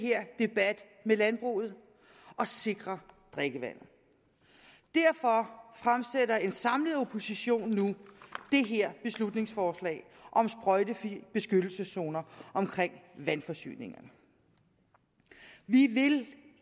her debat med landbruget og sikre drikkevandet derfor fremsætter en samlet opposition nu det her beslutningsforslag om sprøjtefrie beskyttelseszoner omkring vandforsyningerne vi vil